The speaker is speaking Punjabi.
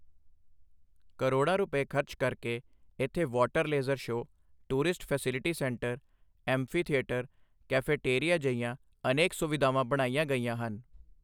ਕਰੋੜਾਂ ਰੁਪਏ ਖਰਚ ਕਰਕੇ ਇੱਥੇ water laser show, tourist facility centre, amphitheatre, cafeteria ਜਿਹੀਆਂ ਅਨੇਕ ਸੁਵਿਧਾਵਾਂ ਬਣਾਈਆਂ ਗਈਆਂ ਹਨ।